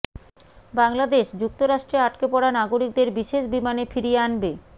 বাংলাদেশ যুক্তরাষ্ট্রে আটকে পড়া নাগরিকদের বিশেষ বিমানে ফিরিয়ে আনবে